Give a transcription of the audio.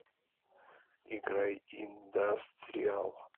играй индастриал